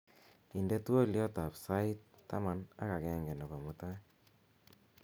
inde twolyot ab sait taman ak agenge nebo mutai